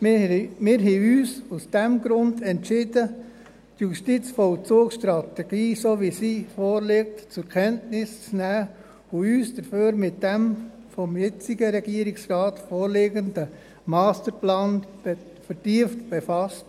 Wir haben uns aus diesem Grund entschieden, die JVS so zur Kenntnis zu nehmen, wie sie vorliegt, und haben uns stattdessen mit dem vom jetzigen Regierungsrat vorgelegten Masterplan vertieft befasst.